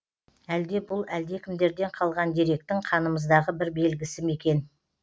әлде бұл әлдекімдерден қалған деректің қанымыздағы бір белгісі ме екен